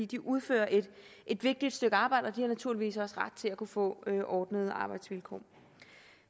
de udfører et et vigtigt stykke arbejde og de har naturligvis også ret til at kunne få ordnede arbejdsvilkår